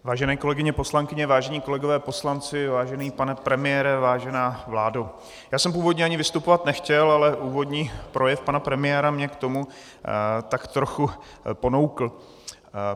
Vážené kolegyně poslankyně, vážení kolegové poslanci, vážený pane premiére, vážená vládo, já jsem původně ani vystupovat nechtěl, ale úvodní projev pana premiéra mě k tomu tak trochu ponoukl.